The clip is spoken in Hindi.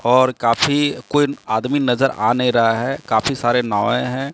और काफी कोई आदमी नजर आ नहीं रहा है काफी सारे नवै हैं।